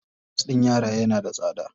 Pampers ɗin yara yana da tsada.